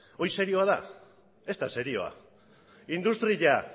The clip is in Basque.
hori serioa da ez da serioa industria